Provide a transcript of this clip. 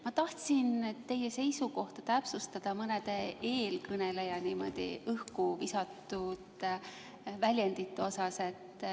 Ma tahtsin täpsustada teie seisukohta mõnede eelkõneleja niimoodi õhku visatud väljendite suhtes.